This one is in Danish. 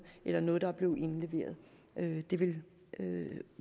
eller noget som er blevet indleveret det det ville